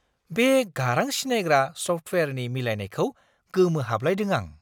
बे गारां सिनायग्रा सफ्टवेयारनि मिलायनायखौ गोमोहाबलायदों आं!